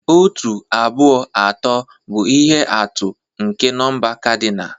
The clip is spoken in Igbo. Otu, abụọ, atọ, bụ ihe atụ nke nọmba kadinal.